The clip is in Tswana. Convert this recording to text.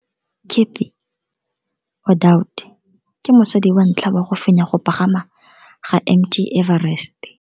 Cathy Odowd ke mosadi wa ntlha wa go fenya go pagama ga Mt Everest.